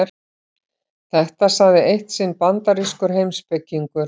Þetta sagði eitt sinn bandarískur heimspekingur.